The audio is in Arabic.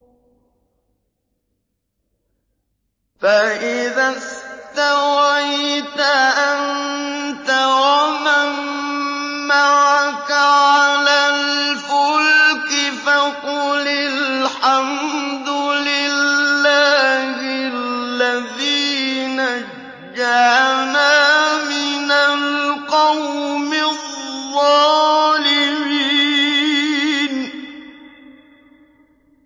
فَإِذَا اسْتَوَيْتَ أَنتَ وَمَن مَّعَكَ عَلَى الْفُلْكِ فَقُلِ الْحَمْدُ لِلَّهِ الَّذِي نَجَّانَا مِنَ الْقَوْمِ الظَّالِمِينَ